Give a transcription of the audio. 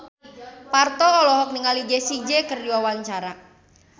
Parto olohok ningali Jessie J keur diwawancara